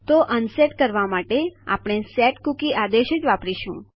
તો અનસેટ કરવા માટે આપણે સેટકુકી આદેશ જ વાપરીશું